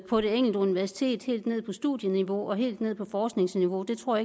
på det enkelte universitet helt ned på studieniveau og helt ned på forskningsniveau det tror